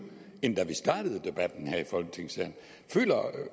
end da vi startede debatten her i folketingssalen føler